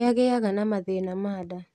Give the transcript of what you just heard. Nĩagĩaga na mathĩna ma nda